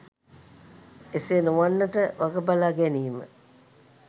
එසේ නොවන්නට වගබලා ගැනීම